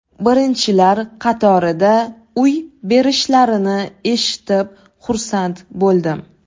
Birinchilar qatorida uy berishlarini eshitib xursand bo‘ldim.